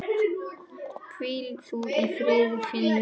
Hvíl þú í friði Finnur.